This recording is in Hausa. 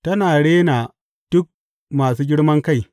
Tana rena duk masu girman kai.